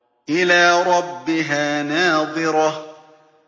إِلَىٰ رَبِّهَا نَاظِرَةٌ